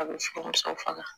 A bɛ furumuso fana